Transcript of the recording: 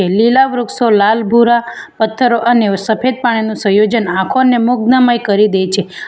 લીલા વૃક્ષો લાલ ભૂરા પથ્થરો અને સફેદ પાણીનું સયોજન આંખોને મુગ્નમય કરી દે છે.